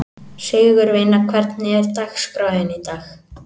Sigurvina, hvernig er dagskráin í dag?